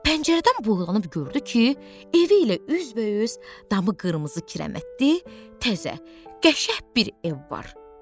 Pəncərədən boylanıb gördü ki, evi ilə üzbəüz damı qırmızı kirəmətdi, təzə, qəşəng bir ev var.